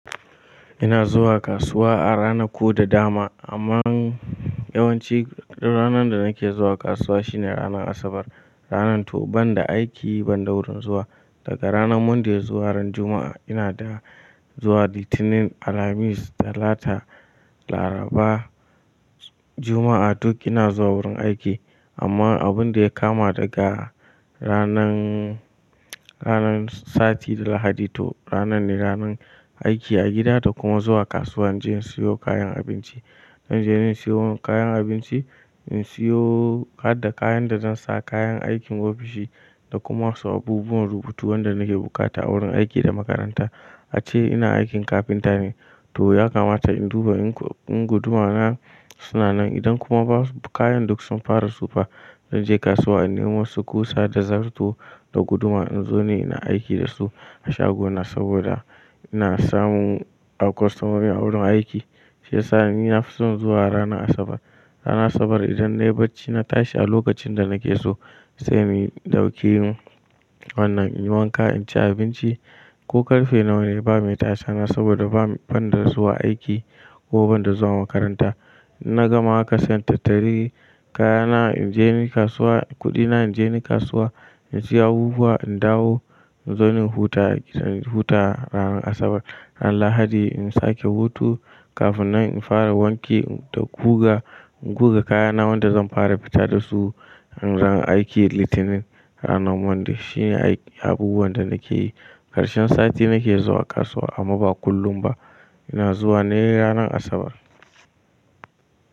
Ina zuwa kasuwa a rana ko da dama. Amman yawanci ranar da nake zuwa kasuwa shine ranar Asabar. Ranar to banda aiki ban da wurin zuwa daga ranar Monday zuwa ran Juma'a ina da zuwa litinin, alhamis, talata, laraba, Juma'a duk ina zuwa wurin aiki. Amma abun da ya kama daga ranan, ranan sati da lahadi to ranan ne ranan aiki a gida da kuma zuwa kasuwa. Inje in siyo kayan abinci. Zanje in siyo kayan abinci, in siyo, hadda kayan da zan sa kayan aikin ofishi, da kuma wasu abubuwan rubutu wanda nake bukata a wurin aiki da makaranta. Ace ina aikin carpenter ne, to ya kamata in duba in guduma na suna nan idan kuma kayan duk sun fara tsufa. Inje kasuwa in nemo wasu kusa da zarto da guduma in zo ni ina aiki da su a shagona saboda in samun a kwastomomi a wurin aiki. Shiya ni nafison zuwa ranar Asabar. Ranar Asabar idan na yi bacci na tashi a lokacin da nake so sai mi ɗauki wannan in yi wanka, in ci abinci ko karfe nawa ne bame tasa na saboda banda zuwa aiki kuma banda zuwa makaranta. Na gama haka sai in tattari, kaya na inje ni kasuwa, kuɗi na inje ni kasuwa, in siya abubuwa, in dawo in zo in huta a gida, in huta ranar Asabar. Ran lahadi in sake hutu kafin nan in fara wanke da guga, in guga kayana wanda zan fara fita da su ran aiki litinin. Ranar Monday shine abubuwan da nake yi. Karshen sati nake zuwa kasuwa amma ba kullum ba. Ina zuwa ne ranar Asabar.